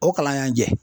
O kalan y'an jɛ